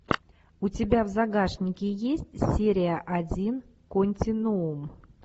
у тебя в загашнике есть серия один континуум